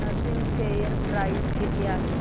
Grasim share price किती आहे